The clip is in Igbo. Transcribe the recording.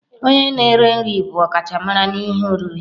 Onye na-eri nri bụ ọkachamara n'ihe oriri.